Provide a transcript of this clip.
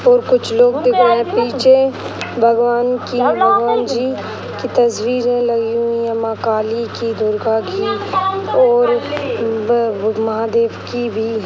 और कुछ लोग दिख रहे हैं। पीछे भगवान की भगवान जी की तस्वीरें लगी हुए है माँ काली की दुर्गा की और ब महादेव की भी।